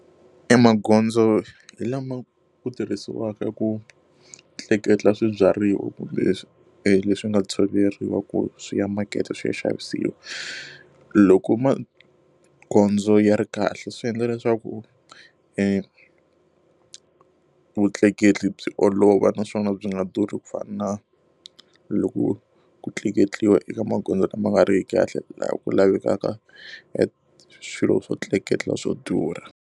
E magondzo hi lama ku tirhisiwaka ku tleketla swibyariwa kumbe leswi leswi nga tshoveriwa ku swi ya makete swi ya xavisiwa. Loko magondzo ya ri kahle swi endla leswaku vutleketli byi olova naswona byi nga durhi ku fana na loko ku tleketliwa eka magondzo lama nga ri ki kahle laha ku lavekaka e swilo swo tleketla swo durha.